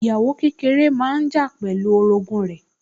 Ìyàwó kékeré máa ń jà pẹ̀lú orogún rẹ̀